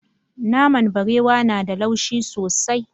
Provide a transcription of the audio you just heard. Naman barewa na da laushi sosai.